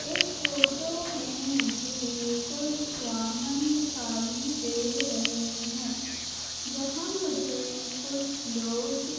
इस फोटो में मुझे कुछ वाहन दिखाई दे रहे हैं यहां मुझे कुछ लोग दि --